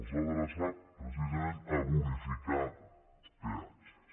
els ha adreçat precisament a bonificar peatges